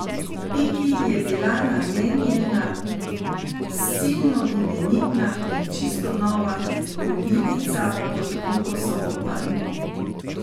Piki je bila namenjena silno imenitna in čisto nova kolibica pod kokosovo palmo.